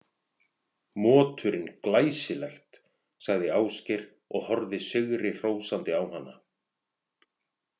Moturinn Glæsilegt, sagði Ásgeir og horfði sigrihrósandi á hana.